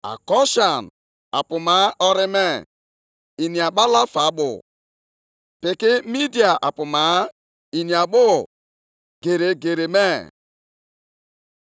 Ahụrụ m ụlọ ikwu nke Kushan ka ha nọ ọnọdụ ụbọchị ọjọọ, na ebe obibi ndị Midia ka ha nọ na oke ahụ ụfụ.